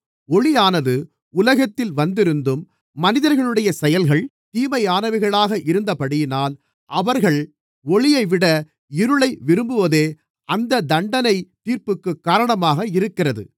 ஒளியானது உலகத்திலே வந்திருந்தும் மனிதர்களுடைய செயல்கள் தீமையானவைகளாக இருக்கிறபடியினால் அவர்கள் ஒளியைவிட இருளை விரும்புகிறதே அந்த தண்டனைத் தீர்ப்புக்குக் காரணமாக இருக்கிறது